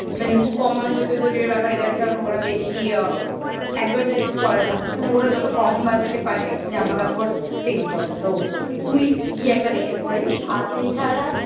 মানে খুব কম মানুষ হতো Zudio র ব্যাপারে জানে কারণ ওরা বেশি আ advertise করে না মানে ওরা যত কম budget এ পারে জামাকাপড় sale করে তো তুই গিয়ে একবার দেখে আসতে পারিস আ এছাড়া